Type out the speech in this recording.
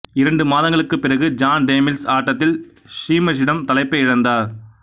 இரண்டு மாதங்களுக்குப் பிறகு ஜான் டேமில்ஸ் ஆட்டத்தில் ஷீமஸிடம் தலைப்பை இழந்தார்